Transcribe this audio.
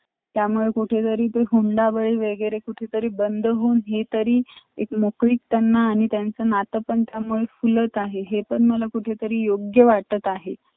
त ते मस्त होतं मग अं त ते आम्ही sochi Moscow अशे फिरलो आम्ही बरेचशे लोकं आमच्या अजूनपण फिरले इथेतिथे येतानापण आम्ही flight ने आलो त तिथं airport च्या बाहेर